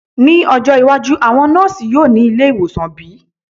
Ni ojo iwaju, awọn nọọsi yoo ni awọn ile-iwosan bi?